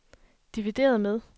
divideret med